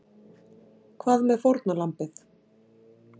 Hvað með fórnarlambið?